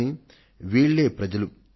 కానీ వీళ్లే ప్రజలు